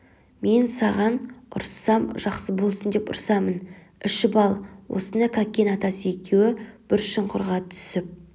мен саған ұрыссам жақсы болсын деп ұрсамын ішіп ал осыны кәкен атасы екеуі бір шұңқырға түсіп